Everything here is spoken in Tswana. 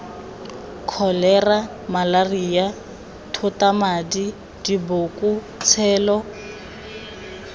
kholera malaria thotamadi diboko tshelo